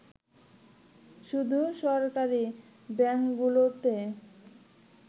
শুধু সরকারি ব্যাংকগুলোতে